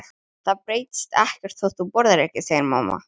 En það breytist ekkert þótt þú borðir ekki, segir mamma.